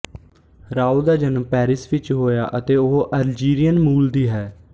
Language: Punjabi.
ਰਾਉ ਦਾ ਜਨਮ ਪੈਰਿਸ ਵਿੱਚ ਹੋਇਆ ਅਤੇ ਉਹ ਅਲਜੀਰੀਅਨ ਮੂਲ ਦੀ ਹੈ